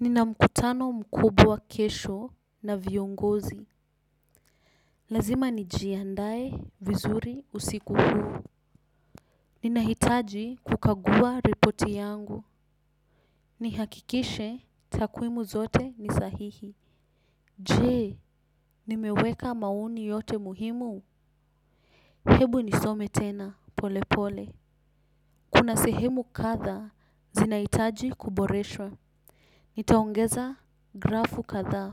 Nina mkutano mkubwa kesho na viongozi. Lazima nijiandae vizuri usiku huu. Ninahitaji kukagua ripoti yangu. Nihakikishe takwimu zote ni sahihi. Je, nimeweka maoni yote muhimu. Hebu nisome tena pole pole. Kuna sehemu kadhaa zinahitaji kuboreshwa. Nitaongeza grafu kadhaa